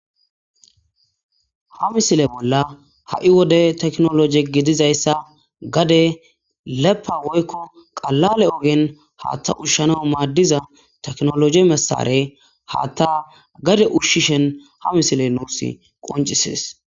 Ha misile bolla ha' wode tekinoloje gididaysa gade lefa woyko qalale ogen Hatha ushana madiza tekinoloje mesareye Hatha ushishn ha misiley nus qoncises.